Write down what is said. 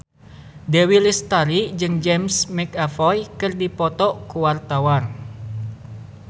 Dewi Lestari jeung James McAvoy keur dipoto ku wartawan